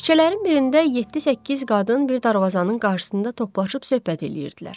Küçələrin birində yeddi-səkkiz qadın bir darvazanın qarşısında toplaşıb söhbət eləyirdilər.